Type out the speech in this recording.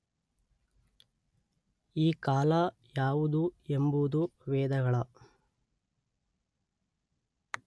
ಈ ಕಾಲ ಯಾವುದು ಎಂಬುದು ವೇದಗಳ